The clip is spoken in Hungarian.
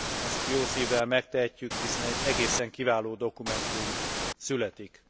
Ezt jó szívvel megtehetjük, hiszen egy egészen kiváló dokumentum születik.